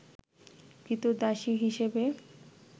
ক্রীতদাসী হিসেবে